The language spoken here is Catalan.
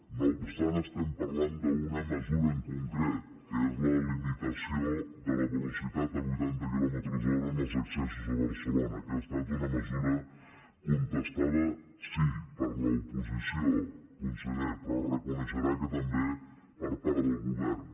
no obstant estem parlant d’una mesura en concret que és la limitació de la velocitat a vuitanta quilòmetres hora en els accessos a barcelona que ha estat una mesura contestada sí per l’oposició conseller però reconeixerà que també per part del govern